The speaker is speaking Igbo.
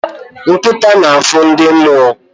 Nkịta na-afụ ndị mmụọ